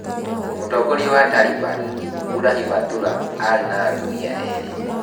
Mũtongoria wa Talibani, Mullah Hibatulah, arĩ na atumia erĩ.